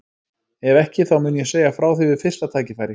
Ef ekki þá mun ég segja þér frá því við fyrsta tækifæri.